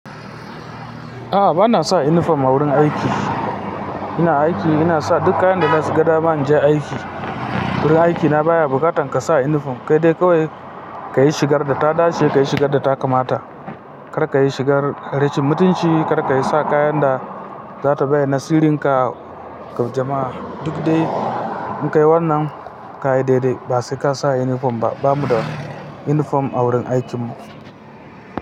A'a, ba na sa inifom a wurin aiki. Ina aiki, ina sa duk kayan da na shiga da ba ni ja aiki. Wurin aiki na baya buƙatar ka sa inifom, kai dai kawai ka yi shigar da ta dace, ka yi shigar da ta kamata, kar ka yi shigar harashin mutunci, kar ka yi sa kayan da za ta bayar nasirin ka ga jama'a. Duk dai inkai wannan kaya dai-dai, ba sai ka sa inifom ba. Ba mu da inifom a wurin aikinmu.